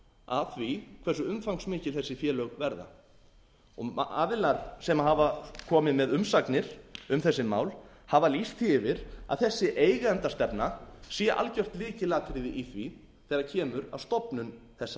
að því hversu umfangsmikil þessi félög verða aðilar sem hafa komið með umsagnir um þessi mál hafa lýst því fyrir að þessi eigendastefna sé algjört lykilatriði í því þegar kemur að stofnun þessara